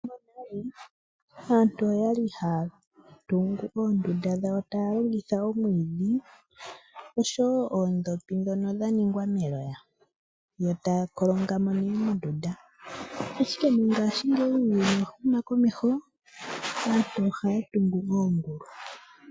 Monale aantu oya li haya tungu oondunda dhawo taya longitha omwiidhi oshowo oondhopi ndhono dha ningwa neloya yo taya kolonga mo nduno mondunda, ashike mongashingeyi uuyuni owa huma komeho naantu ohaya tungu oongulu.